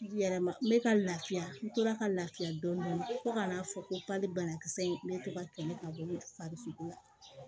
Yɛrɛma n bɛ ka lafiya n tora ka lafiya dɔɔnin fo ka n'a fɔ ko bali banakisɛ in bɛ to ka kɛlɛ ka bɔ farikolo la